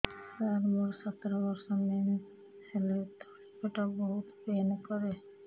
ସାର ମୋର ସତର ବର୍ଷ ମେନ୍ସେସ ହେଲେ ତଳି ପେଟ ବହୁତ ପେନ୍ କରେ